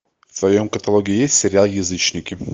в твоем каталоге есть сериал язычники